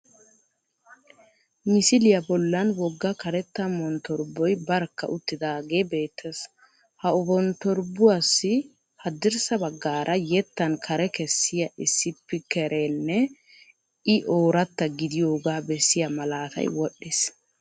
Misiliya bollan wogga karetta monttorboy barkka uttidaagee beettees Haonttorbuwassi haddirssa baggaara yettan kare kessiya isppiikereenne I ooratta gidiyogaa bessiya malaatay wodhdhiis